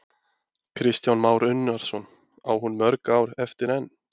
Kristján Már Unnarsson: Á hún mörg ár eftir enn?